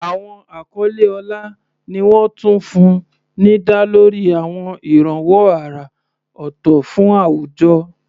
Àwọn àkọlé ọlá ni wọ́n tún fún ní dá lórí àwọn ìrànwọ́ àrà ọ̀tọ̀ fún àwùjọ.